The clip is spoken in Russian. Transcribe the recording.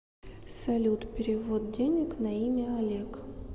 салют перевод денег на имя олег